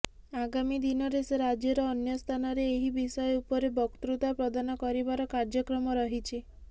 ଆଗାମୀ ଦିନରେ ସେ ରାଜ୍ୟର ଅନ୍ୟ ସ୍ଥାନରେ ଏହି ବିଷୟ ଉପରେ ବକ୍ତୃତା ପ୍ରଦାନ କରିବାର କାର୍ଯ୍ୟକ୍ରମ ରହିଛି